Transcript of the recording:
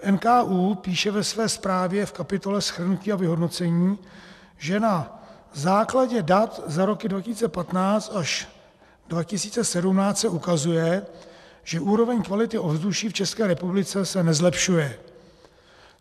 NKÚ píše ve své zprávě v kapitole shrnutí a vyhodnocení, že na základě dat za roky 2015 až 2017 se ukazuje, že úroveň kvality ovzduší v České republice se nezlepšuje.